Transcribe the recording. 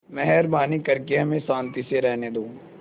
मेहरबानी करके हमें शान्ति से रहने दो